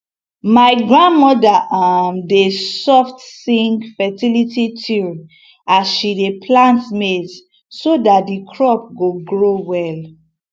my grandmother um dey soft sing fertility tune as she dey plant maize so that the crop go grow well